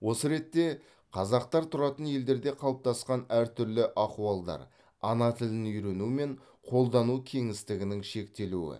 осы ретте қазақтар тұратын елдерде қалыптасқан әртүрлі ахуалдар ана тілін үйрену мен қолдану кеңістігінің шектелуі